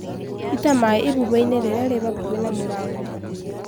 Ita maĩ ibuba-inĩ rĩrĩa rĩ hakũhĩ na mũrango.